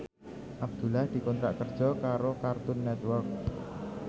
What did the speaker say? Abdullah dikontrak kerja karo Cartoon Network